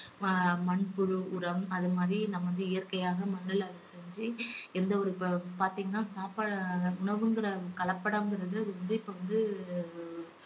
ம~ மண்புழு உரம் அது மாதிரி நம்ம வந்து இயற்கையாக மண்ணுல அத செஞ்சு எந்த ஒரு பா~ பார்த்தீங்கன்னா சாப்பா~ உணவுங்குற கலப்படங்குறது அது வந்து இப்ப வந்து